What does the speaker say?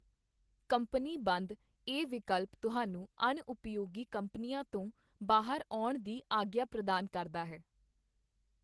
Company ਬੰਦ ਇਹ ਵਿਕਲਪ ਤੁਹਾਨੂੰ ਅਣਉਪਯੋਗੀ ਕੰਪਨੀਆਂ ਤੋਂ ਬਾਹਰ ਆਉਣ ਦੀ ਆਗਿਆ ਪ੍ਰਦਾਨ ਕਰਦਾ ਹੈ।